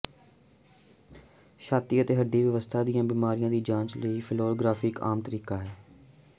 ਛਾਤੀ ਅਤੇ ਹੱਡੀ ਵਿਵਸਥਾ ਦੀਆਂ ਬਿਮਾਰੀਆਂ ਦੀ ਜਾਂਚ ਲਈ ਫਲੋਰੌਗ੍ਰਾਫੀ ਇੱਕ ਆਮ ਤਰੀਕਾ ਹੈ